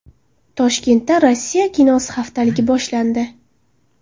Toshkentda Rossiya kinosi haftaligi boshlandi.